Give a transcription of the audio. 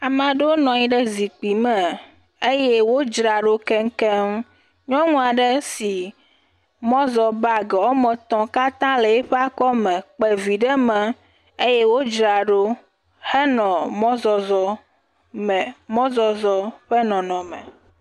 Ame aɖewo nɔ anyi ɖe zikpui me eye wodzra ɖo keŋkeŋ. Nyɔnua ɖe si mɔzɔ bagi woa me etɔ wole eƒe akɔ me kpe vi ɖe me eye wodzra ɖo le mɔzɔzɔ me. Mɔzɔzɔ ƒe nɔnɔme.